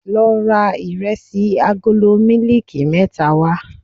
Lọ ra Ìrẹsì agolo mílíìkì mẹ́ta wá.